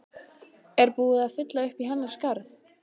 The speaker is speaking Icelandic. Er búið að fylla uppí hennar skarð?